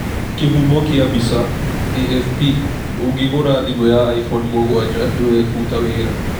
Kĩhumo kĩa mbica, AFP 'Ũngĩgũra thimũ ya iPhone 7 nĩwebuta wĩra!'